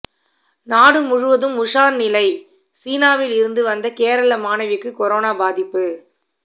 நாடு முழுவதும் உஷார் நிலை சீனாவில் இருந்து வந்த கேரள மாணவிக்கு கொரோனா பாதிப்பு